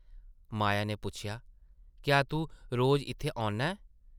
माया नै पुच्छेआ, ‘‘क्या तूं रोज़ इत्थै औन्ना ऐं?’’